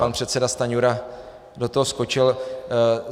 Pan předseda Stanjura do toho skočil.